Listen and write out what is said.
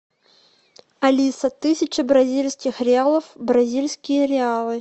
алиса тысяча бразильских реалов в бразильские реалы